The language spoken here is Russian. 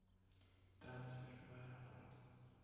трансфер в аэропорт